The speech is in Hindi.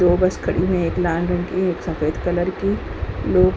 दो बस खड़ी है एक लाल रंग की एक सफेद कलर की। लोग --